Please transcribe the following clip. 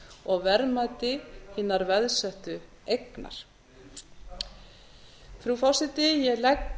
og verðmæti hinnar veðsettu eignar frú forseti ég legg